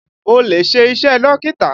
Mo lè ṣe iṣẹ́ Dókítà